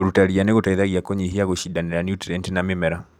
Kũruta ria nĩgũteithagia kũnyihia gũcindanĩra nũtrienti na mĩmera.